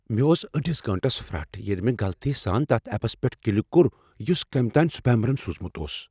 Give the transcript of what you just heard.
مےٚ اوس أڈِس گٲنٹس پھرٹھ ییٚلہ مےٚ غلطی سان تتھ ایپس پیٹہ کلِک کوٚر یُس کمۍ تام سپیمرن سوزمت اوس۔